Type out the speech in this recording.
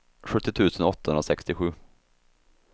sjuttio tusen åttahundrasextiosju